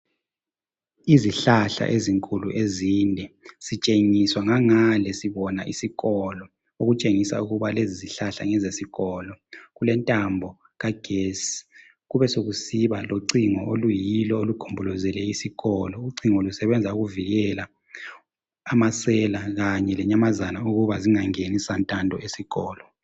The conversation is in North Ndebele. Izihlahla ezinkulu ezinde sitshengiswa ngangale sibona isikolo okutshengisa ukuba lezizihlahla ngezesikolo kulentambo kagesi kubesekusiba locingo oluyilo olugombolozele isikolo ucingo lusebenza ukuvikela amasela kanye lenyamazana ukuba zingangeni santando esikolo